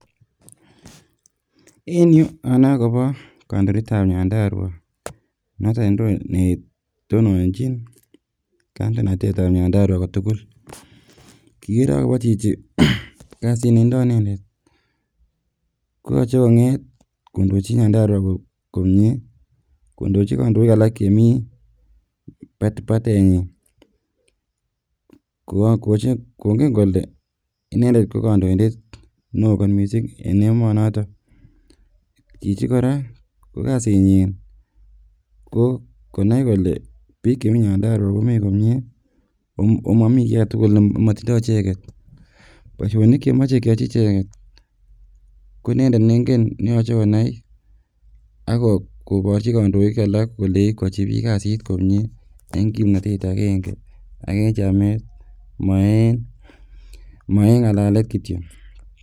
en yuu anoe akobo kandoindetab Nyandarua noton netononjin kandoinatetab Nyandarua kotugul kikere akobo chichi kasit netindoi inendet koyoche konget kondochi Nyandarua komie, kondochi kandoik alak chemii bat batenyin kongen kole inendet ko kandoindet neoo kot missing eng emonoton chichi kora ko kasitnyin ko konai kole biik chemii Nyandarua komii komie omimoii kiy aketugul nemotindoo icheket, boisionik chemoche kyochi icheket ko inendet nengen neyoche konai ak koborchi kandoik alak kolei kwochi biik kasit komie en kimnotet agenge ak en chamet mo en ngalalet kityok